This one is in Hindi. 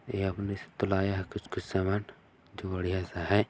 यह अपने से तो लाया है कुछ-कुछ सामान बढ़िया सा है।